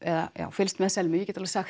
fylgst með Selmu